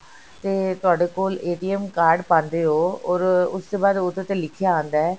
ਤੇ ਤੁਹਾਡੇ ਕੋਲ card ਪਾਂਦੇ ਹੋ or ਉਸ ਤੋਂ ਬਾਅਦ ਉਹਦੇ ਤੇ ਲਿਖਿਆ ਆਂਦਾ ਹੈ